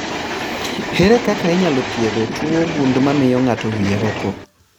Ere kaka inyalo thiedh tuwo gund mamio ng'ato wie roko